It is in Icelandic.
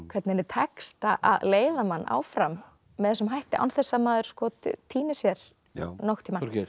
hvernig henni tekst að leiða mann áfram með þessum hætti án þess maður týni sér nokkurn tímann